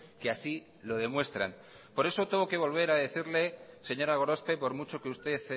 que así lo demuestran por eso tengo que volver a decirle señora gorospe por mucho que usted